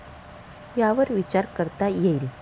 यावर विचार करता येईल.